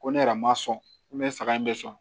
Ko ne yɛrɛ ma sɔn ko ne saga in bɛ sɔn